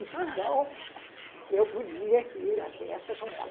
Então, eu podia ir à festa com ela.